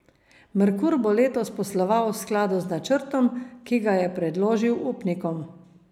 Merkur bo letos posloval v skladu z načrtom, ki ga je predložil upnikom.